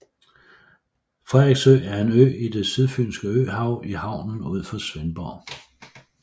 Frederiksø er en ø i det Sydfynske Øhav i havnen ud for Svendborg